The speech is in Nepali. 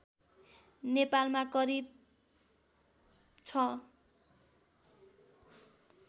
नेपालमा करिव ६